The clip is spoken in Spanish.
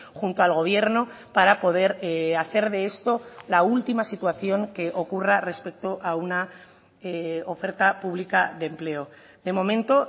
junto al gobierno para poder hacer de esto la última situación que ocurra respecto a una oferta pública de empleo de momento